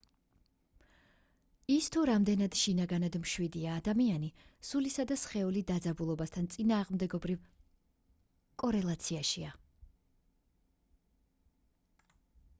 ის თუ რამდენად შინაგანად მშვიდია ადამიანი სულისა და სხეული დაძაბულობასთან წინააღმდეგობრივ კორელაციაშია